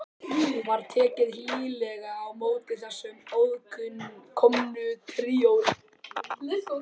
Var tekið hlýlega á móti þessu aðkomna tríói.